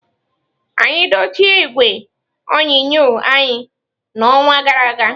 Anyị dochie igwe onyonyo anyị n'ọnwa gara aga.